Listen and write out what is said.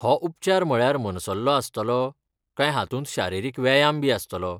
हो उपचार म्हळ्यार मनसल्लो आसतलो, काय हातूंत शारिरीक व्यायामबी आसतलो?